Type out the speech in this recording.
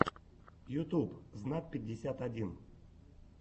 ютуб знат пятьдесят один